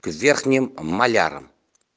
верхним моляром